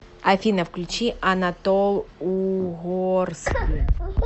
афина включи анатол угорски